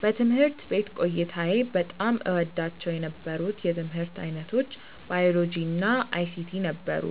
በትምህርት ቤት ቆይታዬ በጣም እወዳቸው የነበሩት የትምህርት ዓይነቶች ባዮሎጂ እና አይሲቲ ነበሩ።